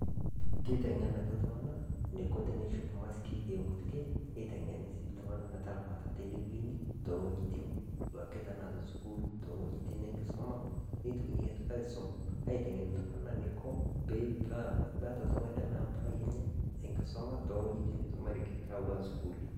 Keiteng'enaki ltung'ana neiko teneishoop masikii e nkutuukee. Neiteng'eni sii ltung'ana metaramaata tenewuen too ng'ojitin duake tanaa to sukuul , too ng'ojin enkisoma. Neitokiin atoki aisom aiteng'en neiko pee meeta ltung;'ani lemeeta mpalai enye enkisoma tewuejin naisomeri tawua sukuuli.